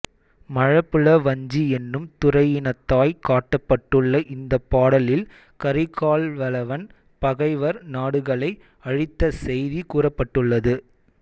மழபுல வஞ்சி என்னும் துறையினதாய்க் காட்டப்பட்டுள்ள இந்தப் பாடலில் கரிகால்வளவன் பகைவர் நாடுகளை அழித்த செய்தி கூறப்பட்டுள்ளது